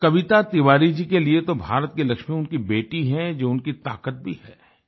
कविता तिवारी जी के लिए तो भारत की लक्ष्मी उनकी बेटी हैं जो उनकी ताकत भी है